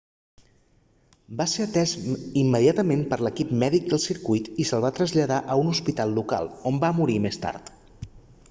va ser atès immediatament per l'equip mèdic del circuit i se'l va traslladar a un hospital local on va morir més tard